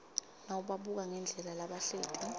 nawubabuka ngendlela labahleti